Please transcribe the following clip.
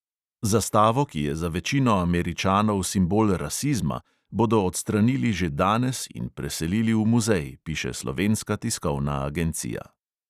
Zastavo, ki je za večino američanov simbol rasizma, bodo odstranili že danes in preselili v muzej, piše slovenska tiskovna agencija.